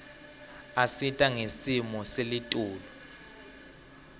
isita ngesimo selitulu